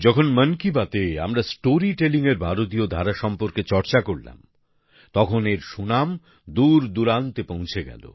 যখন মন কি বাতে আমরা স্টোরি টেলিংএর ভারতীয় ধারা সম্পর্কে চর্চা করলাম তখন এর সুনাম দূরদূরান্তে পৌঁছে গেল